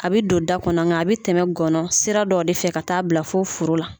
A bɛ don da kɔnɔ nga a bɛ tɛmɛ gɔnɔ sira dɔ de fɛ ka taa bila fo furu la.